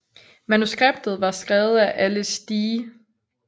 Manuskriptet var skrevet af Alice D